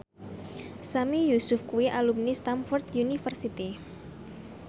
Sami Yusuf kuwi alumni Stamford University